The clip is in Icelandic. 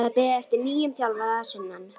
Það er beðið eftir nýjum þjálfara að sunnan.